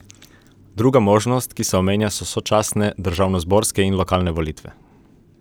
Druga možnost, ki se omenja so sočasne državnozborske in lokalne volitve.